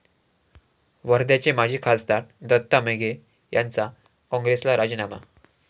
वर्ध्याचे माजी खासदार दत्ता मेघे यांचा काँग्रेसला राजीनामा